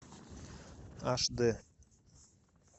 аш д